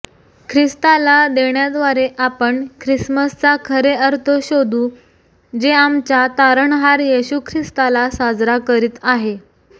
ख्रिस्ताला देण्याद्वारे आपण ख्रिसमसचा खरे अर्थ शोधू जे आमच्या तारणहार येशू ख्रिस्ताला साजरा करीत आहे